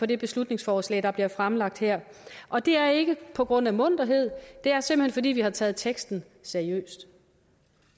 det beslutningsforslag der bliver fremsat her og det er ikke på grund af munterhed det er simpelt hen fordi vi har taget teksten seriøst